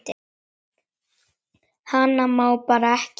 Hana má bara ekki nefna.